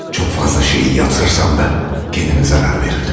Çox fazla şeyi yatırsam da, özümə zərər verirdim.